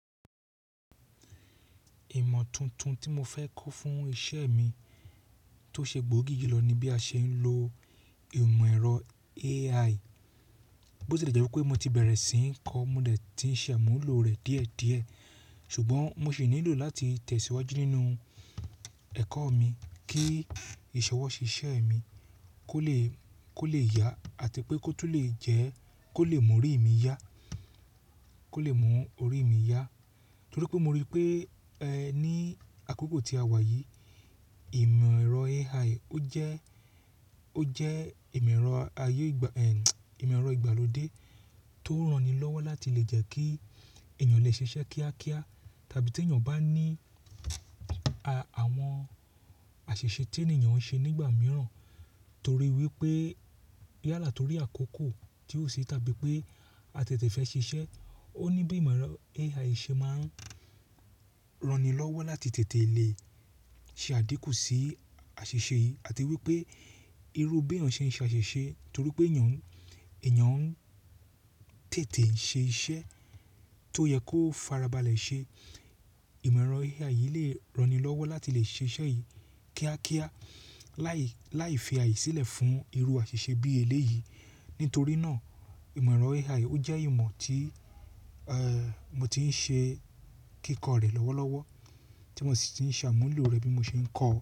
Ìmọ̀ tuntun tí mo fẹ́ kó fún iṣẹ́ mi tó ṣe gbòógì julọ ni bí a ṣe ń lo ìmọ̀ ẹ̀rọ AI. Bo ṣe le jẹ́ wípé mo ti bẹ̀rẹ̀ sí ń kọ́, mo dẹ̀ ti ń ṣàmúlò rẹ̀ díẹ̀díẹ̀, ṣùgbọ́n mo sì nílò láti tẹ̀síwájú nínú ẹ̀kọ́ mi kí ìṣọwọ́ṣe iṣẹ́ mi kó lè, kó lè yá àti pé kó tún lè jẹ́ kó lè mú orí mi yá, kó lè mú orí mi yá. Torí pé mo rí i pé, ẹ́, ní àkókò tí a wà yìí, ìmọ̀ ẹ̀rọ AI ó jẹ́, ó jẹ́ ìmọ̀ ẹ̀rọ ayé ìgbà, ẹ́n, ìmọ̀ ẹ̀rọ ìgbàlódé tó ń ranni lọ́wọ́ láti lè jẹ́ kí èèyàn lè ṣiṣẹ́ kíákíá tàbí tí èèyàn bá ní à-àwọn àṣìṣe tí èèyàn ń ṣe nígbà mìíràn torí wípé yálà torí àkókò tí ó ṣe tàbí pé a tètè fẹ́ ṣiṣẹ́. Ó ní bí ìmọ̀ ẹ̀rọ AI ṣe máa ń ranni lọ́wọ́ láti tètè lè ṣe àdíkù sí àṣìṣe yìí àti wípé irú bí èèyàn ṣe ń ṣe àṣìṣe torí pé èèyàn, èèyàn ń tètè ṣe iṣẹ́ tó yẹ kó farabalẹ̀ ṣe. Ìmọ̀ ẹ̀rọ AI yìí lè ranni lọ́wọ́ láti lè ṣe iṣẹ́ yìí kíákíá láì, láì fi àyè sílẹ̀ fún irú àṣìṣe bí eléyìí. Nítorí náà, ìmọ̀ ẹ̀rọ AI ó jẹ́ ìmọ̀ tí, ẹ́, mo ti ń ṣe kíkọ rẹ̀ lọ́wọ́lọ́wọ́, tí mo sì ti ń ṣàmúlò rẹ̀ bí mo ṣe ń kọ́.